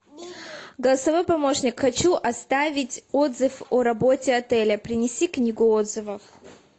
голосовой помощник хочу оставить отзыв о работе отеля принеси книгу отзывов